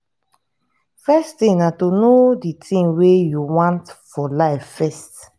first thing na to know di thing wey you want for life first